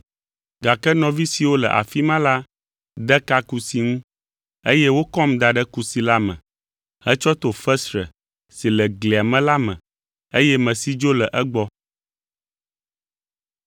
gake nɔvi siwo le afi ma la de ka kusi ŋu, eye wokɔm da ɖe kusi la me hetsɔ to fesre si le glia me la me, eye mesi dzo le egbɔ.